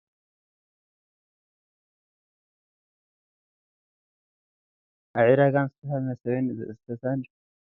ኣብ ዕዳጋ ምስልታት መሰብን ሰተታን በብዓይነቱ ፈርኔሎን ኣብ መርየትን ኣብ ላዕሊን ተሰቂሎም ገዛዉቲ ሰባት ደዉ ዝበለ እቲ መርየት ኮብልስቶንእዮ ።